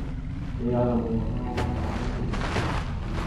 Dejala mu je: 'Vi ste pa živčni.